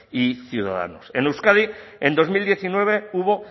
y ciudadanos en euskadi en dos mil diecinueve hubo